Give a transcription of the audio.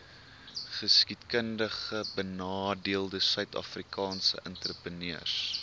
geskiedkundigbenadeelde suidafrikaanse entrepreneurs